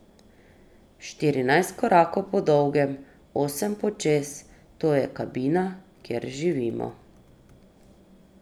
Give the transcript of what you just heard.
Štirinajst korakov po dolgem, osem počez, to je kabina, kjer živimo.